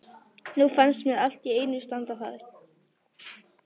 Nú fannst mér allt í einu standa þar